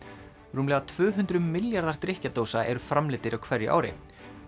rúmlega tvö hundruð milljarðar eru framleiddir á hverju ári